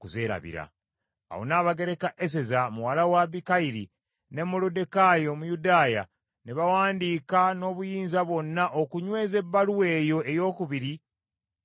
Awo Nnabagereka Eseza muwala wa Abikayiri ne Moluddekaayi Omuyudaaya ne bawandiika n’obuyinza bwonna okunyweza ebbaluwa eyo eyookubiri eya Pulimu.